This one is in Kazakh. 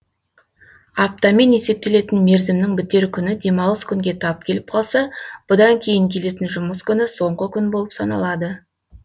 аптамен есептелетін мерзімнің бітер күні демалыс күнге тап келіп қалса бұдан кейін келетін жұмыс күні соңғы күн болып саналады